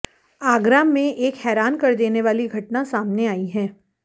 आगरा में एक हैरान कर देने वाली घटना सामने आई है